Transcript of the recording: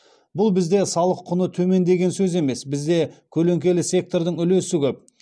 бұл бізде салық құны төмен деген сөз емес бізде көлеңкелі сектордың үлесі көп